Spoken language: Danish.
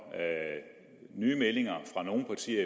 nye meldinger fra nogle partier